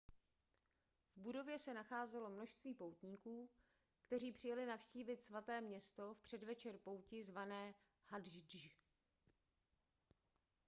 v budově se nacházelo množství poutníků kteří přijeli navštívit svaté město v předvečer pouti zvané hadždž